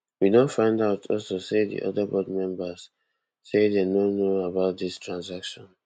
we don find also say di oda board members say dem no know about dis transaction